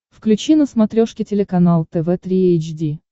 включи на смотрешке телеканал тв три эйч ди